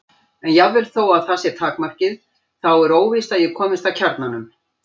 En jafnvel þótt það sé takmarkið þá er óvíst að ég komist að kjarnanum.